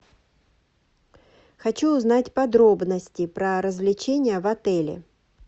хочу узнать подробности про развлечения в отеле